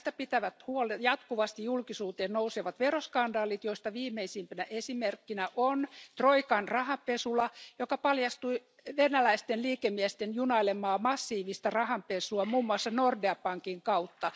Tästä pitävät huolen jatkuvasti julkisuuteen nousevat veroskandaalit, joista viimeisimpänä esimerkkinä on Troikan rahanpesula, joka paljasti venäläisten liikemiesten junailemaa massiivista rahanpesua muun muassa Nordea pankin kautta.